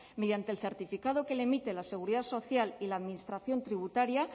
mediante el certificado que le emite la seguridad social y la administración tributaria